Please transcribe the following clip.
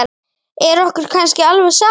Er okkur kannski alveg sama?